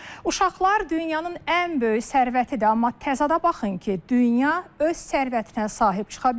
Uşaqlar dünyanın ən böyük sərvətidir, amma təzadə baxın ki, dünya öz sərvətinə sahib çıxa bilmir.